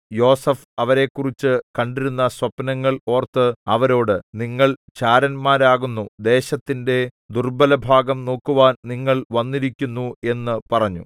യോസേഫ് അവരെക്കുറിച്ചു കണ്ടിരുന്ന സ്വപ്നങ്ങൾ ഓർത്ത് അവരോട് നിങ്ങൾ ചാരന്മാരാകുന്നു ദേശത്തിന്റെ ദുർബ്ബലഭാഗം നോക്കുവാൻ നിങ്ങൾ വന്നിരിക്കുന്നു എന്ന് പറഞ്ഞു